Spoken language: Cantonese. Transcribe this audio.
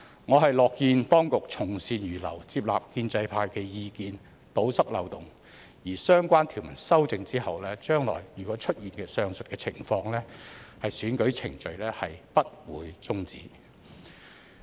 我樂見當局從善如流，採納建制派的意見，堵塞漏洞，而相關條文修正後，將來如出現上述情況，選舉程序不會終止。